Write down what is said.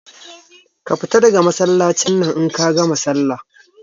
Ka fita daga Masallacin nan in kagama sallah